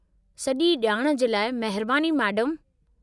सॼी ॼाण जे लाइ महिरबानी मेडमु।